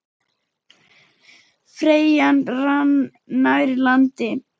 Ferjan rann nær landi.